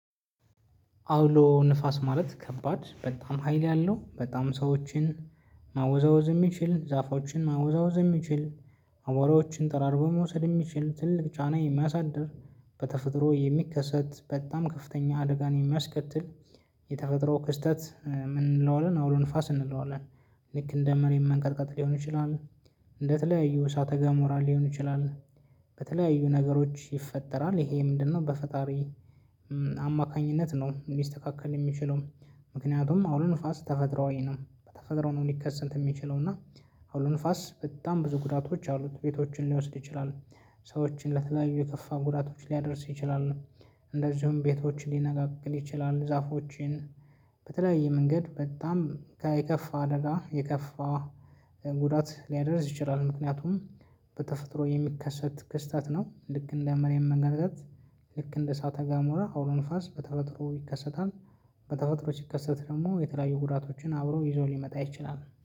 አውሎ ንፋስ ማለት ከባድ በጣም ሀይል ያለው በጣም ሰዎችን ማወዛወዝ የሚችል ዛፎችን ማወዛወዝ የሚችል አቧራዎችን ጠራርጎ በመውሰድ የሚችል ትልቅ ጫና የሚያሳድር በተፈጥሮ የሚከሰት በጣም ከፍተኛ አደጋን የሚያስከትል። የተፈጥሮ ክስተት ምን እንለዋለን አውሎ ንፋስ እንለዋለን? ልክ እንደ መሬት መንገርቀጥ ሊሆን ይችላል። እንደተለያዩ እሳተ ገሞራ ሊሆን ይችላል። በተለያዩ ነገሮች ይፈጠራል። ይሄ ምንድነው በፈጣሪ አማካኝነት ነው ሊስተካከል የሚችለው? ምክንያቱም አውሎ ንፋስ ተፈጥሮአዊ ነው በተፈጥሮ ነው ሊከሰንት የሚችለው እና አውሎ ንፋስ በጣም ብዙ ጉዳቶች አሉት ቤቶችን ሊወስድ ይችላል። ሰዎችን ለተለያዩ የከፋ ጉዳቶች ሊያደርስ ይችላል። እንደዚሁም ቤቶችን ሊነቃቅል ይችላል ዛፎችን በተለያየ መንገድ በጣም ከ የከፋ አደጋ የከፋ ጉዳት ሊያደርስ ይችላል። ምክንያቱም በተፈጥሮ የሚከሰት ክስተት ነው ልክ እንደ መሬት መንቀጥቀጥ ልክ እንደ እሳተ ጋሞራ አውሎ ንፋስ በተፈጥሮ ይከሰታል። በተፈጥሮ ሲከሰታል ደግሞ የተለያዩ ጉዳቶችን አብሮ ይዞ ሊመጣ ይችላል